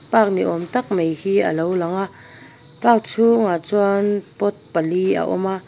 park ni awm tak mai hi a lo lang a park chhungah chuan pot pali a awm a.